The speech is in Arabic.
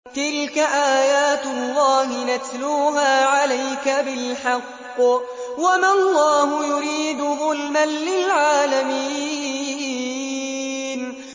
تِلْكَ آيَاتُ اللَّهِ نَتْلُوهَا عَلَيْكَ بِالْحَقِّ ۗ وَمَا اللَّهُ يُرِيدُ ظُلْمًا لِّلْعَالَمِينَ